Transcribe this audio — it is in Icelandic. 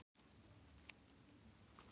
Hann bauð mér stundum með sér.